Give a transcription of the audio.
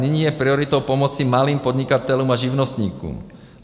Nyní je prioritou pomoci malým podnikatelům a živnostníkům.